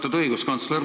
Austatud õiguskantsler!